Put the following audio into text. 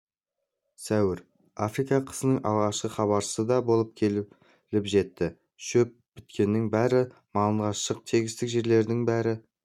сәуір африка қысының алғашқы хабаршысы да келіп жетті шөп біткеннің бәрі малынған шық тегістік жерлердің бәрін